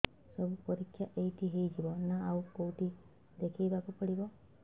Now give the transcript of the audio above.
ସବୁ ପରୀକ୍ଷା ଏଇଠି ହେଇଯିବ ନା ଆଉ କଉଠି ଦେଖେଇ ବାକୁ ପଡ଼ିବ